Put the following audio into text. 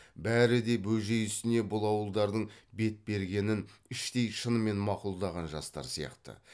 бәрі де бөжей ісіне бұл ауылдардың бет бергенін іштей шынымен мақұлдаған жастар сияқты